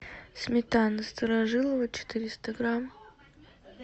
сметана старожилово четыреста грамм